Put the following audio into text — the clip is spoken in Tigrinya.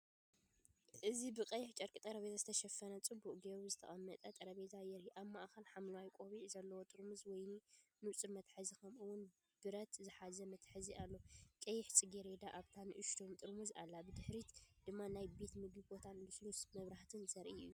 እዚ ብቐይሕ ጨርቂ ጠረጴዛ ዝተሸፈነ ጽቡቕ ጌሩ ዝተቐመጠ ጠረጴዛ የርኢ። ኣብ ማእከል ሐምላይ ቆቢዕ ዘለዎ ጥርሙዝ ወይኒ፡ንጹር መትሓዚ፡ከምኡ’ውን ብረት ዝሓዘ መትሓዚ ኣሎ። ቀያሕ ጽጌረዳ ኣብታ ንእሽቶ ጥርሙዝ ኣላ። ብድሕሪት ድማ ናይ ቤት መግቢ ቦታን ልስሉስ መብራህትን ዘርኢ እዩ።